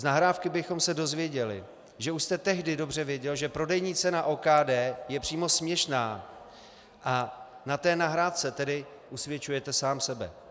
Z nahrávky bychom se dozvěděli, že už jste tehdy dobře věděl, že prodejní cena OKD je přímo směšná, a na té nahrávce tedy usvědčujete sám sebe.